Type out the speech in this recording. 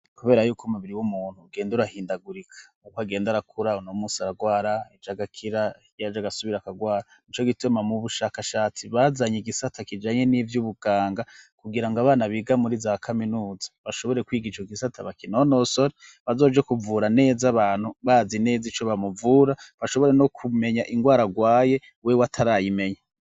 Kubera yuko umubiri w'umuntu ugenda urahindagurika uko agenda arakura, uno munsi aragwara ejo agakira, hirya y'ejo agasubira akagwara. N'ico gituma mu bushakashatsi bazanye igisata kijanye n'ivy'ubuganga, kugira ngo abana biga muri za kaminuza, bashobore kwiga ico gisata bakinonosore, bazoje kuvura neza abantu bazi neza ico bamuvura , bashobore no kumenya ingwara agwaye wewe atarayimenya.